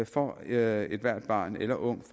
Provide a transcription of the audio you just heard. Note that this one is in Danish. for at ethvert barn eller ungt